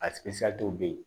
A bɛ yen